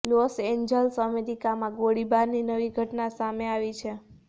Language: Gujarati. લોસ એન્જલસઃ અમેરિકામાં ગોળીબારની નવી ઘટના સામે આવી છે